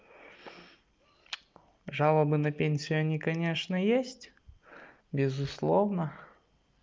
жалобы на пенсию они конечно есть безусловно